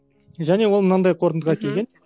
және ол мынандай қортындыға келген